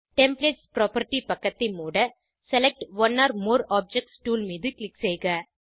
templates property பக்கத்தை மூடSelect one or more objects tool ஐ க்ளிக் செய்க